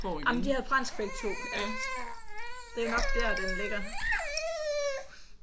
Jamen de havde fransk begge to ik det er jo nok der den ligger